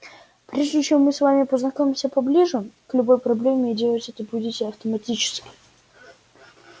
прежде чем мы с вами познакомимся поближе к любой проблеме и делать это будете автоматически